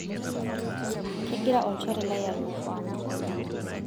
kegira olchore lai alotu ang